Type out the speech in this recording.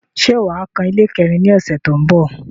Ṣé wà á kan ilé kẹ́rin ní ọ̀ṣẹ̀ tó ń bọ̀?